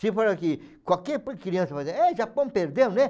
Se for aqui, qualquer criança vai dizer, é, o Japão perdeu, né?